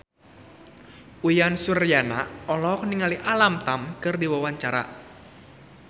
Uyan Suryana olohok ningali Alam Tam keur diwawancara